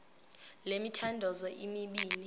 le mithandazo mibini